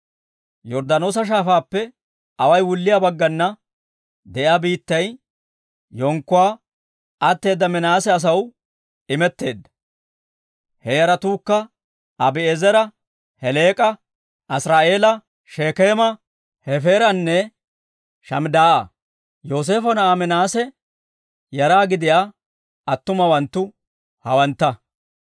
Yorddaanoosa Shaafaappe away wulliyaa baggana de'iyaa biittay yenkkuwaa atteeda Minaase asaw imetteedda; he yaratuukka Abi'eezera, Heleek'a, Asiri'eela, Shekeema, Hefeeranne Shamidaa'a. Yooseefo na'aa Minaase yara gidiyaa attumawanttu hawantta.